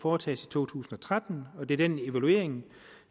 foretages i to tusind og tretten og det er den evaluering